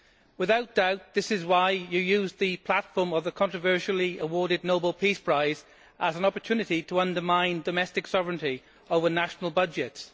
Without a doubt, this is why you used the platform of a controversially awarded Nobel Peace Prize as an opportunity to undermine domestic sovereignty over national budgets.